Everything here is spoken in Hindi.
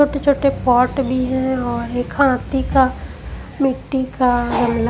छोटे-छोटे पॉट भी हैं और एक हाथी का मिट्टी का--